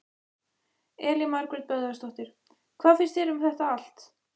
Elín Margrét Böðvarsdóttir: Hvað finnst þér um þetta allt?